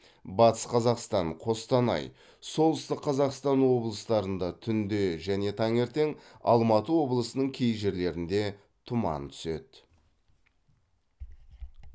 батыс қазақстан қостанай солтүстік қазақстан облыстарында түнде және таңертең алматы облысының кей жерлерінде тұман түседі